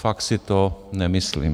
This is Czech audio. Fakt si to nemyslím.